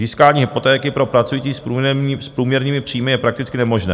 Získání hypotéky pro pracující s průměrnými příjmy je prakticky nemožné.